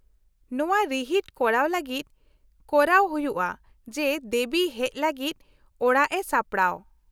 -ᱱᱚᱶᱟ ᱨᱤᱦᱤᱴ ᱠᱚᱨᱟᱣ ᱞᱟᱹᱜᱤᱫ ᱠᱚᱨᱟᱣ ᱦᱩᱭᱩᱜᱼᱟ ᱡᱮ ᱫᱮᱵᱤ ᱦᱮᱡ ᱞᱟᱹᱜᱤᱫ ᱚᱲᱟᱜ ᱨᱮ ᱥᱟᱯᱲᱟᱣ ᱾